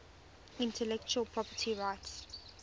intellectual property rights